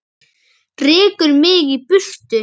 Rekur mig í burtu?